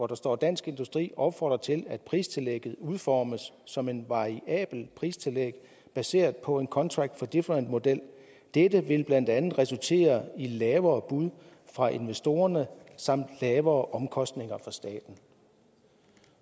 der står dansk industri opfordrer til at pristillægget udformes som et variabelt pristillæg baseret på en contract for difference model dette vil blandt andet resultere i lavere bud fra investorerne samt lavere omkostninger for staten